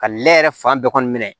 Ka lɛ yɛrɛ fan bɛɛ kɔni minɛ